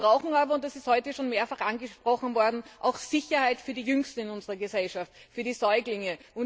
Wir brauchen aber und das ist heute schon mehrfach angesprochen worden auch Sicherheit für die Jüngsten in unserer Gesellschaft, für die Säuglinge.